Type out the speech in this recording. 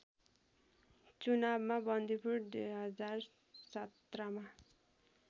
चुनावमा बन्दीपुर २०१७मा